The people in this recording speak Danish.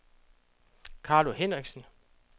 Carlo Hendriksen